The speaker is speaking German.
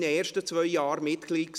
Wir sehen uns nach dem Mittag.